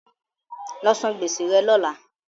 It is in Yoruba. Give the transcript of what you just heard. Lọ san gbèsè rẹ lọ́lá!